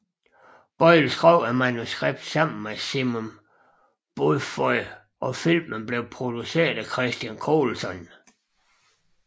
Boyle skrev manuskriptet sammen med Simon Beaufoy og filmen blev produceret af Christian Colson